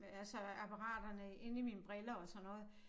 Hvad altså apparaterne inde i mine briller og sådan noget